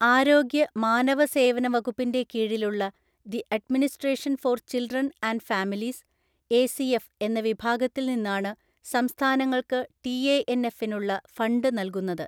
ആരോഗ്യ, മാനവ സേവന വകുപ്പിൻ്റെ കീഴിലുള്ള the administration for children and families (ACF) എന്ന വിഭാഗത്തിൽ നിന്നാണ് സംസ്ഥാനങ്ങൾക്ക് ടിഎഎൻഎഫിനുള്ള ഫണ്ട് നൽകുന്നത്.